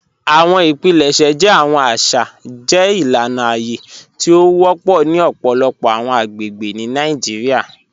Awọn ipilẹṣẹ jẹ awọn aṣa jẹ ilana aye ti o wọpọ ni ọpọlọpọ awọn agbegbe ni Nàìjíríà.